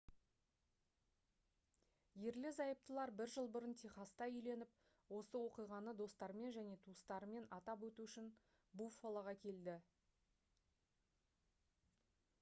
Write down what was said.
ерлі-зайыптылар бір жыл бұрын техаста үйленіп осы оқиғаны достарымен және туыстарымен атап өту үшін буффалоға келді